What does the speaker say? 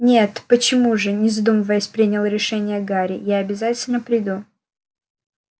нет почему же не задумываясь принял решение гарри я обязательно приду